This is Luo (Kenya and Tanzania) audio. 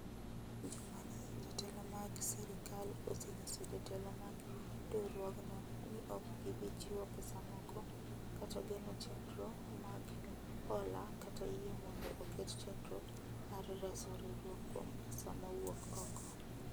Juma ni jotelo mag sirkal osenyiso jotelo mag riwruogno ni ok gibi chiwo pesa moko, kata geno chendro mag hola kata yie mondo oket chendro mar reso riwruok kuom pesa ma wuok oko.